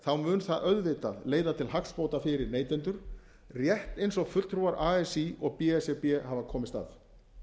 gert mun það auðvitað leiða til hagsbóta fyrir neytendur rétt eins og fulltrúar así og b s r b hafa komist að